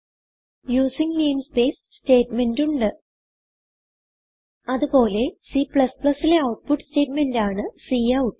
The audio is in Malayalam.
യൂസിങ് നെയിംസ്പേസ് സ്റ്റേറ്റ്മെന്റ് ഉണ്ട് അത് പോലെ C ലെ ഔട്ട്പുട്ട് സ്റ്റേറ്റ്മെന്റാണ് കൌട്ട്